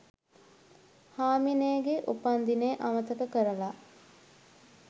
හාමිනේගෙ උපන්දිනේ අමතක කරලා